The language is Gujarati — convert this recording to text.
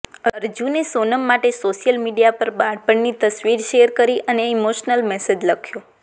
અર્જુને સોનમ માટે સોશિયલ મીડિયા પર બાળપણની તસવીર શેર કરી એક ઈમોશનલ મેસેજ લખ્યો